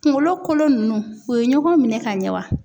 Kunkolo kolo nunnu u ye ɲɔgɔn minɛ ka ɲɛ wa?